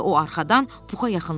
O arxadan Puxa yaxınlaşdı.